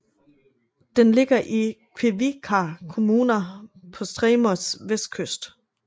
Den ligger i Kvívíkar kommuna på Streymoys vestkyst